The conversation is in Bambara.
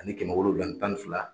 Ani kɛmɛ wolonwula ani tan ni fila.